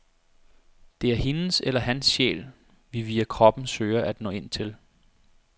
Det er hendes eller hans sjæl, vi via kroppen søger at nå ind til.